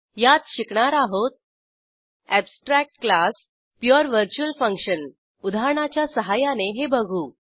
यात शिकणार आहोत abstract class pure virtual function उदाहरणाच्या सहाय्याने हे बघू